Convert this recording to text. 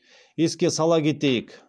еске сала кетейік